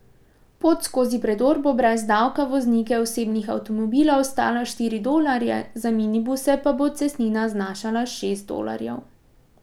Pot skozi predor bo brez davka voznike osebnih avtomobilov stala štiri dolarje, za minibuse pa bo cestnina znašala šest dolarjev.